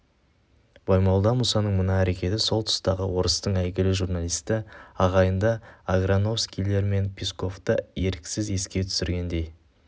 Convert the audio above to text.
баймолда мұсаның мына әрекеті сол тұстағы орыстың әйгілі журналисті ағайынды аграновскийлер мен песковты еріксіз еске түсіргендей